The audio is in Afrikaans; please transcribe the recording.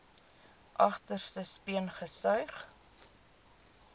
agterste speen gesuig